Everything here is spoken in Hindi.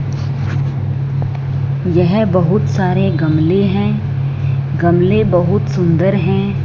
यह बहुत सारे गमले हैं गमले बहुत सुंदर हैं।